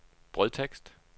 brødtekst